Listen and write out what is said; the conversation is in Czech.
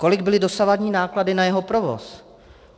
Kolik byly dosavadní náklady na jeho provoz?